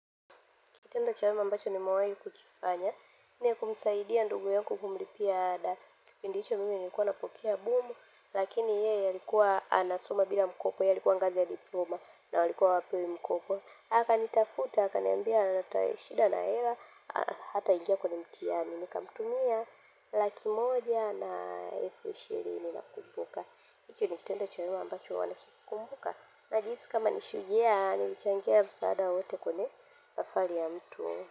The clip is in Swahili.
Kitendo cha wema ambacho nimewahi kukifanya. Ni kumsaidia ndugu yangu kumlipia dala kipindi hicho mimi nilikuwa napokea bumu. Lakini yeye alikuwa anasoma bila mkopo. Yeye alikuwanga za diploma na walikuwa hawapewi mkopo. Akanitafuta akaniambia ana shida la hela. Hataingia kwenye mtihani. Nikamtumia laki moja na elfu ishirini nakumbuka. Hichu ni kitendo cha wema ambacho huwa nakikumbuka. Najihisi kama ni shujaa nilichangia msaada wowote kwenye safari ya mtu.